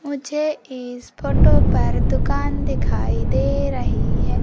मुझे इस फोटो पर दुकान दिखाई दे रही है।